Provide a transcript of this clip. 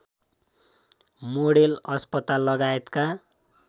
model अस्पताल लगायतका